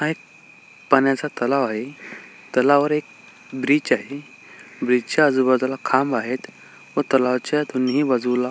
हा एक पाण्याचा तलाव आहे तलावा वर एक ब्रिज आहे ब्रिज च्या आजूबाजूला खांब आहेत व तलावाच्या दोन्ही बाजूला--